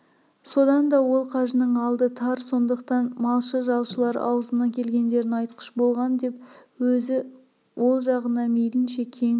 содан да ол қажының алды тар сондықтан малшы-жалшылар аузына келгендерін айтқыш болған деп өзі ол жағына мейлінше кең